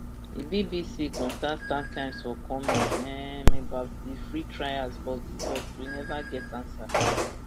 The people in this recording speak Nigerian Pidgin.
di bbc contact startimes for comment um about di free trials but but we neva get ansa